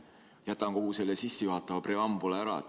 Jätan kogu selle sissejuhatava preambula ära.